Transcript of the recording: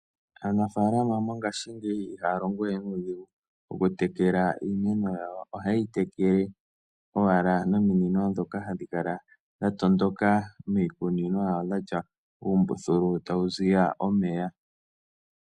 Aanafalama mongashingeyi ihaa longowe nuudhingu oku tekela iimeno yawo. Ohayi tekele owala nominino dhoka hadhi kala owala dha tondoka miikunino yawo dhatya uumbuthulu tawu ziya omeya.